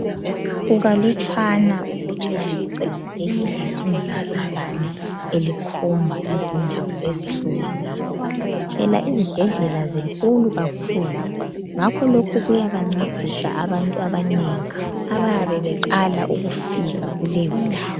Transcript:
Kukalutshwana ukuthi ufice isibhedlela singela bhakane elikhomba izindawo ezihlukeneyo. Phela izibhedlela zinkulu kakhulu ngakho lokhu kuyabancedisa abantu abanengi abayabe beqala ukufika kuleyi ndawo.